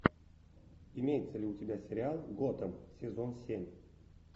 имеется ли у тебя сериал готэм сезон семь